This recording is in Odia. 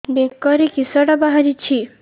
ବେକରେ କିଶଟା ବାହାରିଛି